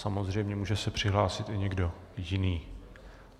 Samozřejmě může se přihlásit i někdo jiný.